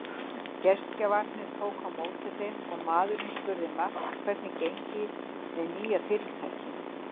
Gestgjafarnir tóku á móti þeim og maðurinn spurði Mark hvernig gengi með nýja fyrirtækið.